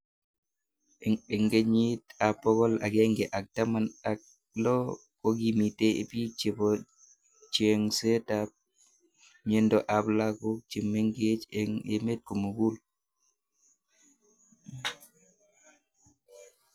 Eng kenyit ab bokol agenge ak taman ak lo kokimitei bik chebo chengset ab mnyendo ab lakok chemengech eng emet komukul.